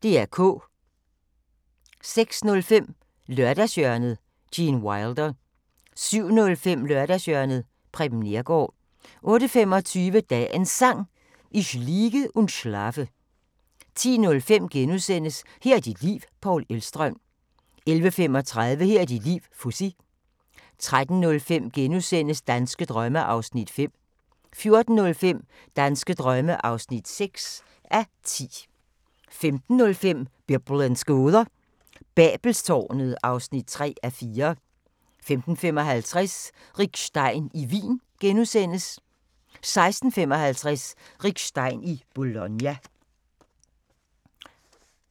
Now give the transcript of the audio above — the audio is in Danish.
06:05: Lørdagshjørnet – Gene Wilder 07:05: Lørdagshjørnet – Preben Neergaard 08:25: Dagens Sang: Ich liege und schlafe 10:05: Her er dit liv – Paul Elvstrøm * 11:35: Her er dit liv - Fuzzy 13:05: Danske drømme (5:10)* 14:05: Danske drømme (6:10) 15:05: Biblens gåder – Babelstårnet (3:4) 15:55: Rick Stein i Wien * 16:55: Rick Stein i Bologna